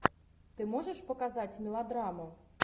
ты можешь показать мелодраму